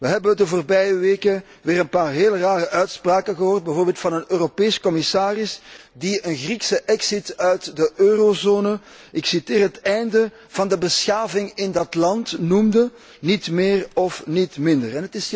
We hebben de voorbije weken weer een paar heel rare uitspraken gehoord, bijvoorbeeld van een Europese commissaris die een Griekse exit uit de eurozone, ik citeer, het einde van de beschaving in dat land noemde, niet meer en niet minder.